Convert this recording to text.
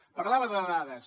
parlava de dades